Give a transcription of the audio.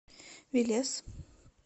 велес